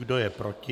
Kdo je proti?